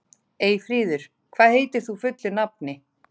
Eyfríður, hvað heitir þú fullu nafni?